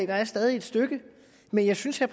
der stadig et stykke men jeg synes at